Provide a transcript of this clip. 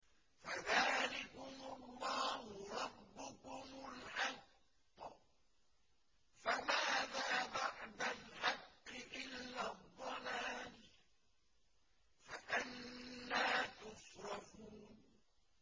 فَذَٰلِكُمُ اللَّهُ رَبُّكُمُ الْحَقُّ ۖ فَمَاذَا بَعْدَ الْحَقِّ إِلَّا الضَّلَالُ ۖ فَأَنَّىٰ تُصْرَفُونَ